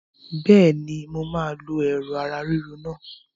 Bẹ́ẹ̀ni, mo máa lo Ẹ̀rọ̀ ara ríro náà.